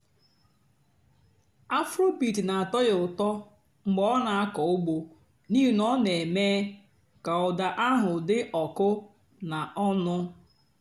afróbeat nà-àtọ́ yá ụ́tọ́ mg̀bé ọ́ nà-àkọ́ ùgbó n'íhì nà ọ́ nà-èmée kà ụ́dà àhú́ dị́ ọ̀kụ́ nà ọ̀ṅụ́.